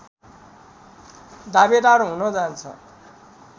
दावेदार हुन जान्छ